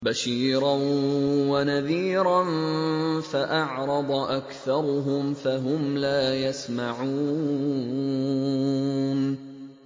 بَشِيرًا وَنَذِيرًا فَأَعْرَضَ أَكْثَرُهُمْ فَهُمْ لَا يَسْمَعُونَ